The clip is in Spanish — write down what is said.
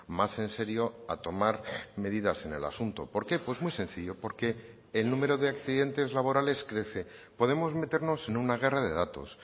más en serio a tomar medidas en el asunto por qué pues muy sencillo porque el número de accidentes laborales crece podemos meternos en una guerra de datos